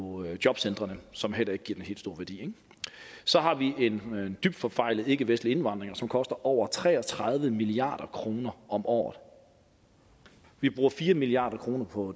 jobcentrene som heller ikke giver den helt store værdi så har vi en dybt forfejlet ikkevestlig indvandring som koster over tre og tredive milliard kroner om året vi bruger fire milliard kroner på